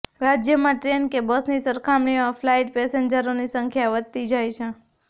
રાજ્યમાં ટ્રેન કે બસની સરખામણીમાં ફ્લાઇટ પેસેન્જરોની સંખ્યા વધતી જાય છે